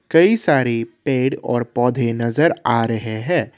कई सारी पेड़ और पौधे नजर आ रहे हैं।